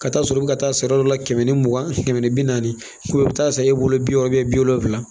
Ka taa sɔrɔ i bɛ ka taa sari dɔ la kɛmɛ ni mugan kɛmɛ ni bi naani i bɛ taa san e bolo bi wɔɔrɔ bi wolonwula